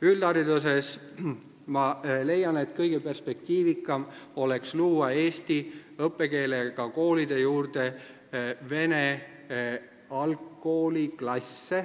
Üldhariduses ma leian, et kõige perspektiivikam oleks luua eesti õppekeelega koolide juurde vene algkooliklasse,